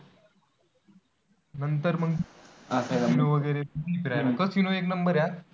नंतर मग असं फिरायला casino एक number आहे.